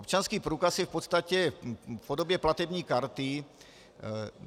Občanský průkaz je v podstatě v podobě platební karty.